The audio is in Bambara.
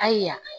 Ayiwa